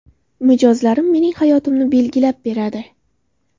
Mijozlarim mening hayotimni belgilab beradi.